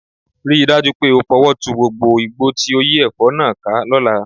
Rí i dájú pé o fọwọ́ tu gbogbo igbó tó yí ẹ̀fọ́ náà ká lọ́la